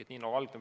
Esialgu